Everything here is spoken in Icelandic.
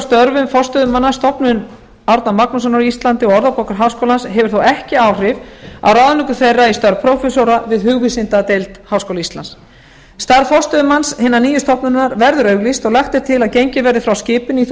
störfum forstöðumanna stofnunar árna magnússonar á íslandi og orðabókar háskólans hefur þó ekki áhrif á ráðningu þeirra í störf prófessora við hugvísindadeild háskóla íslands starf forstöðumanns hinnar nýju stofnunar verður auglýst og lagt er til að gengið verði frá skipun í það